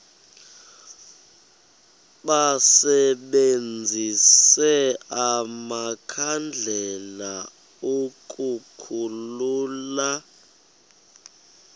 basebenzise amakhandlela ukukhulula